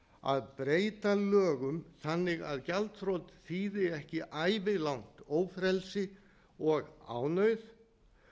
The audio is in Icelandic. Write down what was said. að breyta lögum þannig að gjaldþrot þýði ekki ævilangt ófrelsi og ánauð